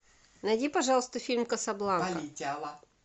найди пожалуйста фильм касабланка